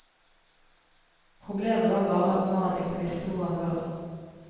Problemet var bare at mannen ikke visste hvor han var.